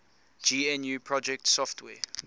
gnu project software